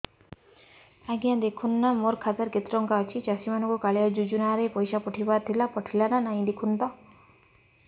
ଆଜ୍ଞା ଦେଖୁନ ନା ମୋର ଖାତାରେ କେତେ ଟଙ୍କା ଅଛି ଚାଷୀ ମାନଙ୍କୁ କାଳିଆ ଯୁଜୁନା ରେ ପଇସା ପଠେଇବାର ଥିଲା ପଠେଇଲା ନା ନାଇଁ ଦେଖୁନ ତ